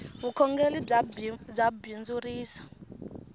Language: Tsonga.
vukhongeli bya bindzurisa